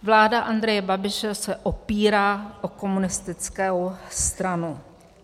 Vláda Andreje Babiše se opírá o komunistickou stranu.